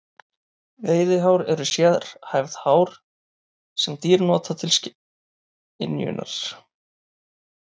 Veiðihár eru sérhæfð hár sem dýr nota til skynjunar.